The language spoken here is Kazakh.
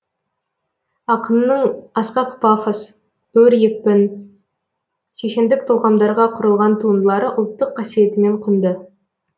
ақынның асқақ пафос өр екпін шешендік толғамдарға құрылған туындылары ұлттық қасиетімен құнды